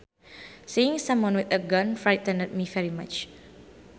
Seeing someone with a gun frightened me very much